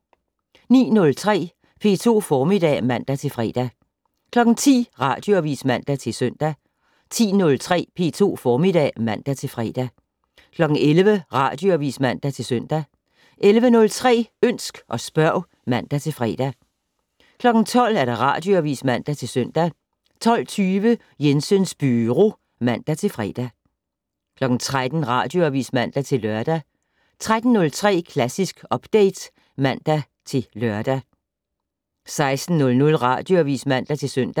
09:03: P2 Formiddag (man-fre) 10:00: Radioavis (man-søn) 10:03: P2 Formiddag (man-fre) 11:00: Radioavis (man-søn) 11:03: Ønsk og spørg (man-fre) 12:00: Radioavis (man-søn) 12:20: Jensens Byro (man-fre) 13:00: Radioavis (man-lør) 13:03: Klassisk Update (man-lør) 16:00: Radioavis (man-søn)